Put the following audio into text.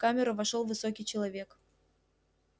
в камеру вошёл высокий человек